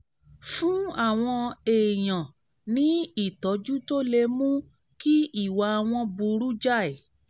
fún àwọn èèyàn ní ìtọ́jú tó lè mú kí ìwà wọn burú jáì